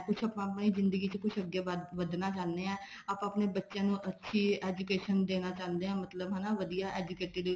ਕੁੱਛ ਆਪਾਂ ਆਪਣੀ ਜਿੰਦਗੀ ਚ ਕੁੱਛ ਅੱਗੇ ਵਧਣਾ ਚਾਹੰਦੇ ਹਾਂ ਆਪਾਂ ਆਪਣੇ ਬਬੱਚਿਆਂ ਨੂੰ ਅੱਛੀ education ਦੇਣਾ ਚਾਹੁੰਦੇ ਹਾਂ ਮਤਲਬ ਹਨਾ ਵਧੀਆ educated